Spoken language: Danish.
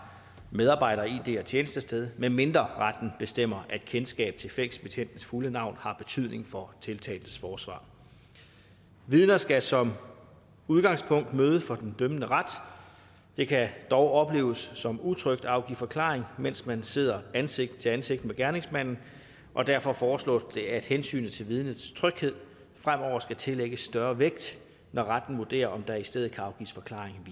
medarbejder id og tjenestested medmindre retten bestemmer at kendskab til fængselsbetjentens fulde navn har betydning for tiltaltes forsvar vidner skal som udgangspunkt møde for den dømmende ret det kan dog opleves som utrygt at afgive forklaring mens man sidder ansigt til ansigt med gerningsmanden og derfor foreslås det at hensynet til vidnets tryghed fremover skal tillægges større vægt når retten vurderer om der i stedet kan afgives forklaring